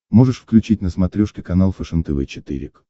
можешь включить на смотрешке канал фэшен тв четыре к